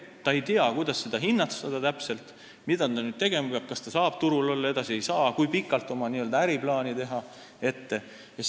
Ta ei tea, kuidas seda täpselt hinnata, mida ta tegema peab – kas ta saab turul edasi olla või ei saa, kui pikalt peaks oma äriplaane tegema jne.